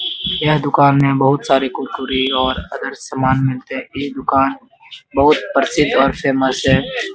यह दुकान में बहुत सारे कुरकुरे और अदर सामान मिलते हैं | यह दुकान बहुत प्रसिद्ध और फेमस है |